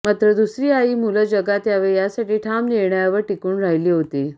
मात्र दुसरी आई मुलं जगात यावे यासाठी ठाम निर्णयावर टिकून राहिली होती